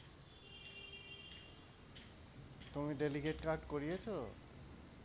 তুমি delicate card করিয়েছো?